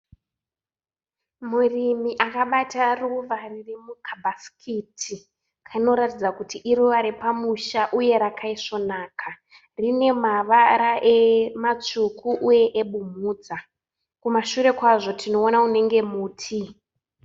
Murimi akabata ruva ririmukabhasikiti. Kanoratidza kuti iruva repamusha uye rakaesvonaka. Rinemavara matsvuku uye ebumhudza. Kumashure kwazvo tinoona unenge muti.